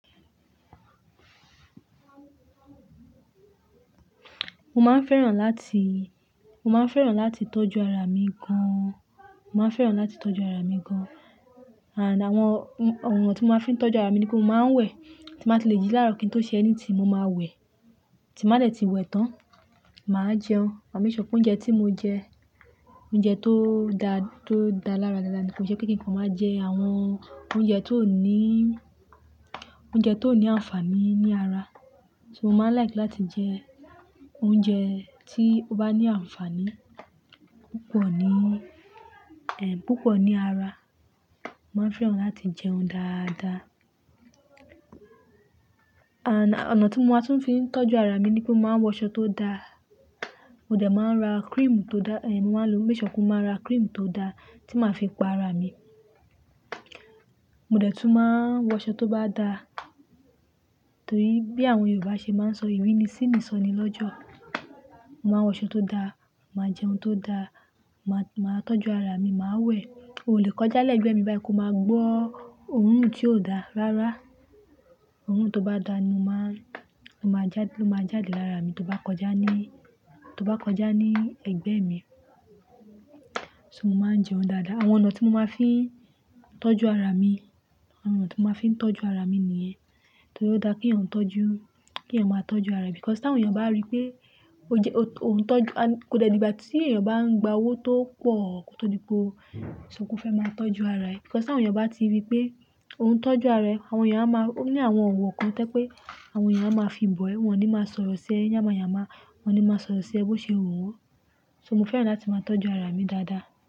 Mo máa ń fẹ́ràn láti, mo máa ń fẹ́ràn láti tọ́jú ara mi gan. Mo máa ń fẹ́ràn láti tọ́jú ara mi gan. Àná àwọn, àwọn ọ̀nà tí mo máa ń fi tọ́jú ara mi ni pé mo máa ń wẹ̀, tí mo bá le jí lára òpin tó ṣe ẹni tí mo máa wẹ̀, tí n má dẹ̀ ti wẹ̀ tán, mà á jẹun. Mo máa ń ìsọkún oúnjẹ tí mo ń jẹ, oúnjẹ tó dá, tó dá lára dáadáa ni. Kò ṣe pé kí nǹkan mo máa jẹ àwọn oúnjẹ tó ní, oúnjẹ tó ní àǹfààní ní ara. So mo máa like láti jẹ oúnjẹ tí ó bá ní àǹfààní púpọ̀ ní, ehn, púpọ̀ ní ara. Mo máa ń fẹ́ràn láti jẹun dáadáa. Àná ọ̀nà tí mo tún máa ń fi tọ́jú ara mi ni pé mo máa wọṣọ tó dáa. Mo dẹ̀ máa ń ra cream tó dá, ehn, mo máa ń lo, mo ìsọkún máa ra cream tó dá tí màá fi pa ara mi. Mo dẹ̀ tún máa wọṣọ tó bá dá, torí bí àwọn Yorùbá ṣe máa ń sọ "ìrínisí ni ìsọnilọ́jọ̀". Mo máa wọṣọ tó dáa, màá jẹun tó dáa, màá, màá tọ́jú ara mi, màá wẹ̀. O lè kọjá lẹ́gbẹ̀ẹ́ mi báyìí kí o máa gbọ́ ohùn tí ó dá rárá. Ohùn tó bá dá ni mo máa, ló máa jáde, ló máa jáde lára mi, tó bá kọjá ní, tó bá kọjá ní ẹgbẹ́ mi. So mo máa ń jẹun dáadáa. Àwọn ọ̀nà tí mo máa ń fi tọ́jú ara mi, àwọn ọ̀nà tí mo máa ń fi tọ́jú ara mi nìyẹn. Torí ó dáa kí ọ̀ún tọ́jú, kí ọ̀ún máa tọ́jú ara ẹ. Because tí àwọn èèyàn bá rí pé ó jẹ, ó ń tọ́jú, a-- kò dẹ́ ibà tí èèyàn bá ń gba owó tó pọ̀ tó dípò ìsọkún fẹ́ máa tọ́jú ara ẹ. Because tí àwọn èèyàn bá ti rí pé òun ń tọ́jú ara ẹ, àwọn èèyàn á máa, ó ní àwọn ọ̀wọ̀ kan tẹ́ pé àwọn èèyàn á máa fi bọ̀ ẹ́, wọ́n ò ní máa sọ̀rọ̀ sí ẹ yàmáyaàmá, wọ́n ò ní máa sọ̀rọ̀ sí ẹ bó ṣe òun wọ́n. So mo fẹ́ràn láti máa tọ́jú ara mi dáadáa.